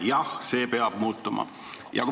Jah, see peab muutuma.